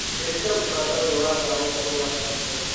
cenjĩa mukanda uyu wa thaa ũkorwo Washington